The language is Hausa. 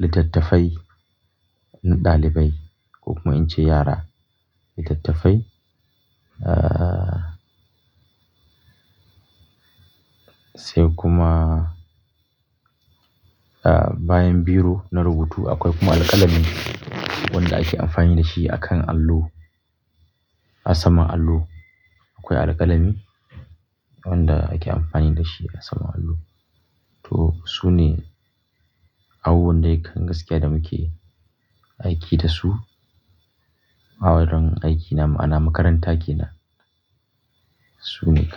littattafai na ɗalibai ko kuma in ce yara, littattafai. Ah, sai kuma, ah, bayan biro na rubutu akwai kuma alƙalami wanda ake amfani da shi akan allo a saman allo akwai alƙalami wanda ake amfani da shi a saman allo. To su ne abubuwan de kan gaskiya da muke aiki da su a wurin aikina ma'ana makaranta ke nan. Su ne.